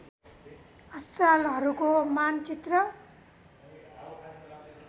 अस्पतालाहरूको मानचित्र